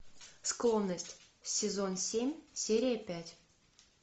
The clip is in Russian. склонность сезон семь серия пять